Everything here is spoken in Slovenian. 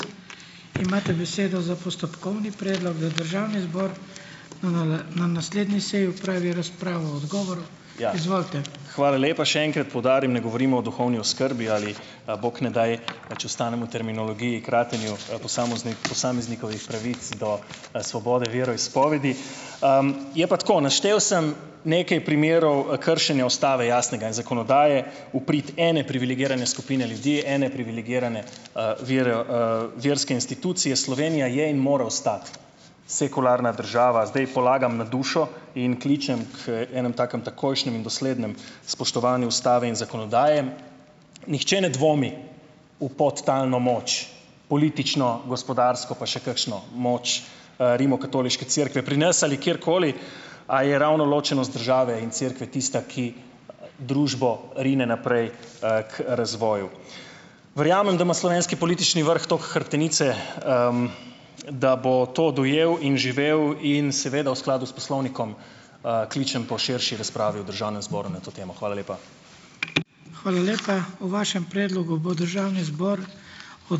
Hvala lepa. Še enkrat poudarim, ne govorimo o duhovni oskrbi ali pa bog ne daj, če ostanemo terminologiji, kratenju, posameznikovih pravic do, svobode veroizpovedi. Je pa tako, naštel sem nekaj primerov, kršenja ustave jasnega in zakonodaje v prid ene privilegirane skupine ljudi, ene privilegirane, vere, verske institucije. Slovenija je in more ostati sekularna država. Zdaj polagam na dušo in kličem k enemu takemu takojšnjemu in doslednemu spoštovanju ustave in zakonodaje. Nihče ne dvomi v podtalno moč politično, gospodarsko, pa še kakšno moč, Rimokatoliške cerkve pri nas ali kjerkoli, a je ravno ločenost države in cerkve tista, ki družbo rine naprej, k razvoju. Verjamem, da ima slovenski politični vrh toliko hrbtenice, da bo to dojel in živel in seveda v skladu s poslovnikom, kličem po širši razpravi v državnem zboru na to temo. Hvala lepa.